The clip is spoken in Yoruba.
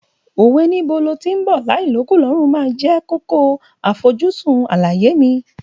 Òwe Níbo lo tí ń bọ̀ láì l'ókùn l'ọ́rùn máa jẹ́ kókó àfojúsùn àlàyé mi.